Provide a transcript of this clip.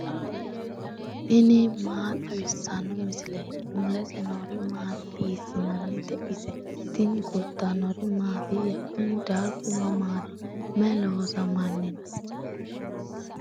tini maa xawissanno misileeti ? mulese noori maati ? hiissinannite ise ? tini kultannori mattiya? kunni darigu mamaatti? May loosamanni noo?